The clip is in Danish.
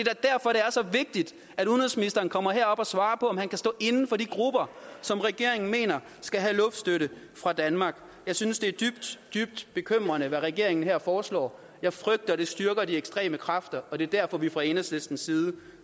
er så vigtigt at udenrigsministeren kommer herop og svarer på om han kan stå inde for de grupper som regeringen mener skal have luftstøtte fra danmark jeg synes det er dybt dybt bekymrende hvad regeringen her foreslår jeg frygter at det styrker de ekstreme kræfter og det er derfor vi fra enhedslistens side